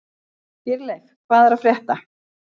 Dýrleif, hvað er að frétta?